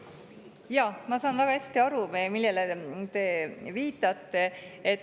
Jaa, ma saan väga hästi aru, millele te viitate.